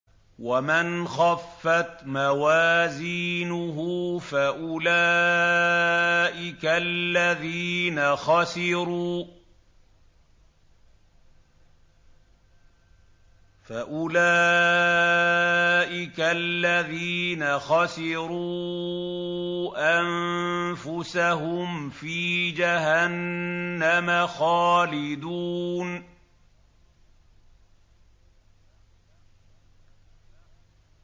وَمَنْ خَفَّتْ مَوَازِينُهُ فَأُولَٰئِكَ الَّذِينَ خَسِرُوا أَنفُسَهُمْ فِي جَهَنَّمَ خَالِدُونَ